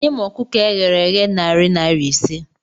Nye m ọkụkọ eghere eghe narị naira ise